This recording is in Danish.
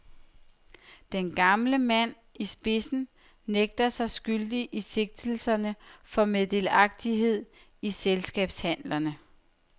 Den gamle mand, i spidsen, nægter sig skyldige i sigtelserne for meddelagtighed i selskabshandlerne.